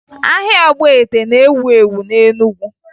Ahịa ọgbete na-ewu ewu na Enugu